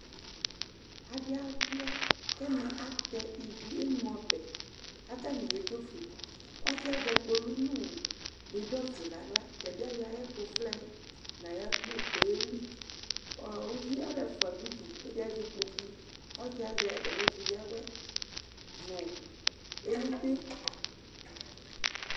Aɖii aluia k'ɛmɛ atɛ ivi, emeɔbɛ k'atani y'edzofueƆsiuɛ azɛ kpolʋ nʋ bidon fue n'aɣla, tɛbi ayɔ ɛkʋ vlɛ n'ayakpo kɔyeli kʋ uvie alʋɛfu ɖʋ ʋɖʋ k'ɛɖi azɛ ikpokuƆsiɛ azɛ atami ɛkʋ yɛa awuɛ nʋ elʋte